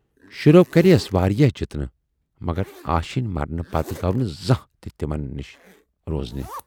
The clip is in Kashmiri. شُرٮ۪و کرییس واراہ جِتنہٕ مگر آشینۍ مرنہٕ پتہٕ گَو نہٕ زانہہ تہِ تِمن نِش روزنہِ۔